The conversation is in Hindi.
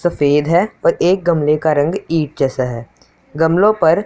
सफेद हैं और एक गमले का रंग ईंट जैसा है गमलों पर--